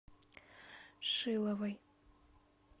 шиловой